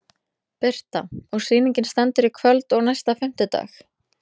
Birta: Og sýningin stendur í kvöld og næsta fimmtudag?